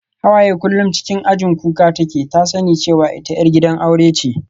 Hawaye kullum cikin ajin kuka take, ta tsani cewa ita 'yar gidan aure ce